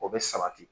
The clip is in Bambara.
O bɛ sabati